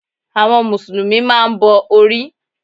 Àwọn mùsùlùmí máa n bo orí